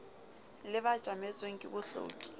le ba tjametsweng ke bohloki